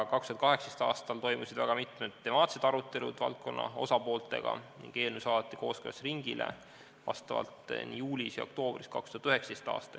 2018. aastal toimusid mitmed temaatilised arutelud valdkonna osapooltega ning eelnõu saadeti kooskõlastusringile juulis ja oktoobris 2019. aastal.